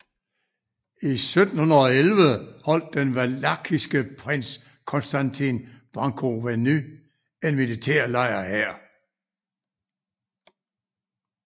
I 1711 holdt den valakiske prins Constantin Brâncoveanu en militærlejr her